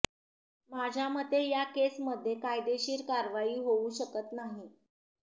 माझ्यामते या केस मध्ये कायदेशीर कारवाई होउ शकत नाही